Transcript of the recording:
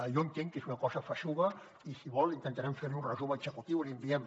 jo entenc que és una cosa feixuga i si vol intentarem fer li un resum executiu i l’hi enviem